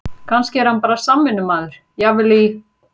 Kannski er hann bara samvinnumaður, jafnvel í